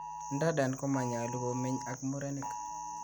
Ndadan ko kimanyalu komeny ak murenik